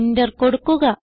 enter കൊടുക്കുക